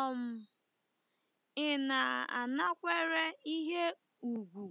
um Ị̀ na-anakwere ihe ùgwù